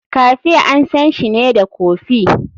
Cafe ansanshi ne da kofi.